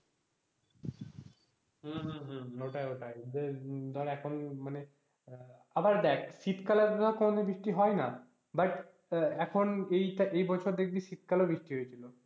হম হম হম ওটাই ওটাই। ধর এখন মানে আবার দেখ শীতকালে তো কোনদিন বৃষ্টি হয়না but এখন এই বছর দেখবি শীতকালেও বৃষ্টি হয়েছিল।